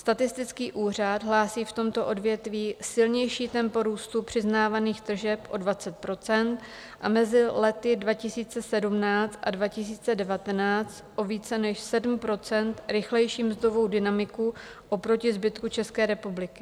Statistický úřad hlásí v tomto odvětví silnější tempo růstu přiznávaných tržeb o 20 % a mezi lety 2017 a 2019 o více než 7 % rychlejší mzdovou dynamiku oproti zbytku České republiky.